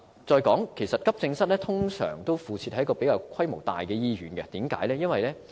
再者，急症室通常附設在規模較大的醫院，為甚麼呢？